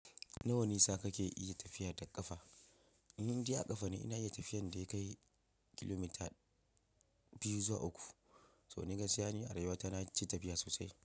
Nawa nisa kake iya tafiya da ƙafa? In dai a kafa ne ina iya tafiyan da ya kai kilomita biyu zuwa uku. Toh ni gaskiya ni a rayuwa ta na ci tafiya sosai.